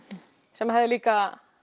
sem hefði líka